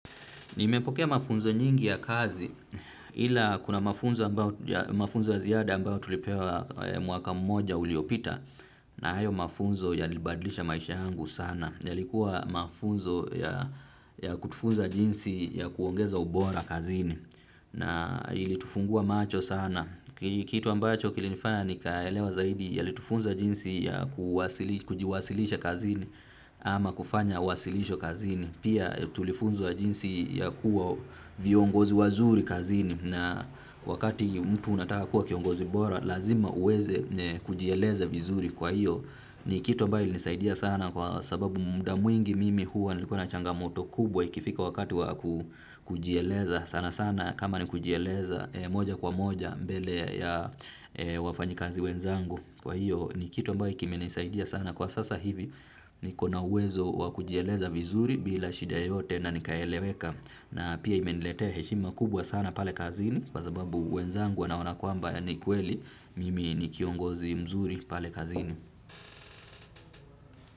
Nimepokea mafunzo nyingi ya kazi ila kuna mafunzo ya ziada ambayo tulipewa mwaka mmoja uliopita na hayo mafunzo yalibadlisha maisha yangu sana. Yalikuwa mafunzo ya kutufunza jinsi ya kuongeza ubora kazini na ili tufungue macho sana. Kitu ambacho kilinifanya nikaelewa zaidi yalitufunza jinsi ya kujiwasilisha kazi ama kufanya wasilisho kazini pia tulifunzwa jinsi ya kuwa viongozi wazuri kazini na wakati mtu unataka kuwa kiongozi bora lazima uweze kujieleza vizuri kwa hiyo ni kitu ambayo ilinisaidia sana kwa sababu muda mwingi mimi huwa nilikuwa na changamoto kubwa ikifika wakati wa kujieleza sana sana kama ni kujieleza moja kwa moja mbele ya wafanyikazi wenzangu kwa hiyo ni kitu ambayo kimenisaidia sana kwa sasa hivi. Nikona uwezo wa kujieleza vizuri bila shida yoyote na nikaeleweka. Na pia imeniletea heshima kubwa sana pale kazini. Kwa sababu wenzangu wanaona kwamba ya ni kweli. Mimi ni kiongozi mzuri pale kazini.